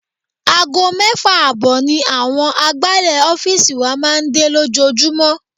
Aago mẹ́fà ààbọ̀ ni àwọn agbálẹ̀ ọ́fíìsì wa máa ń dé lójoojúmọ́.